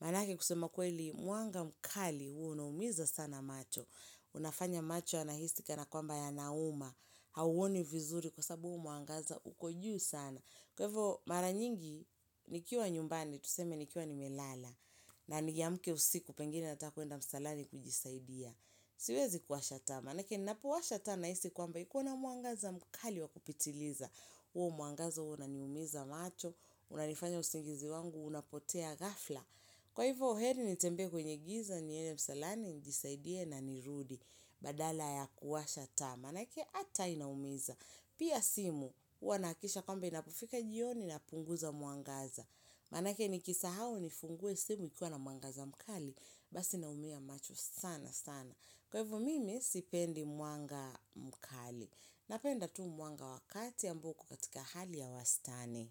manake kusema kweli mwanga mkali, huwa unaumiza sana macho, unafanya macho yanahisi kana kwamba yanauma, hauoni vizuri kwa sababu huu mwangaza, uko juu sana. Kwa hivyo, mara nyingi, nikiwa nyumbani, tuseme nikiwa nimelala. Na niamke usiku, pengine nataka kwenda msalani kujisaidia. Siwezi kuwasha taa. Manake ninapowasha taa nahisi kwamba iko na mwangaza mkali wa kupitiliza. Huo mwangaza huwa unaniumiza macho, unanifanya usingizi wangu, unapotea ghafla. Kwa hivyo heri nitembee kwenye giza, niende msalani, njisaidie na nirudi, badala ya kuwasha taa. Manake taa inaumiza, pia simu, huwa nahakikisha kwamba inapofika jioni napunguza mwangaza. Manake nikisau nifungue simu ikuwa na mwangaza mkali, basi naumia macho sana sana. Kwa hivyo mimi sipendi mwanga mkali. Napenda tu mwanga wa kati ambo uko katika hali ya wastani.